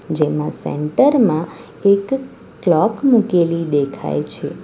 જેમાં સેન્ટર માં એક કલોક મૂકેલી દેખાય છે.